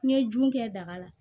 N ye jun kɛ daga la